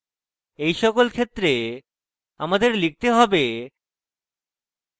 in সকল ক্ষেত্রে আমাদের লিখতে হবে: